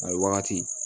A ye wagati